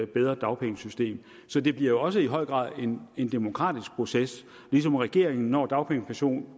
bedre dagpengesystem så det bliver også i høj grad en en demokratisk proces ligesom regeringen når dagpengekommissionen